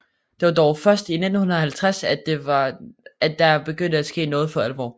Det var dog først i 1950 at der begyndte at ske noget for alvor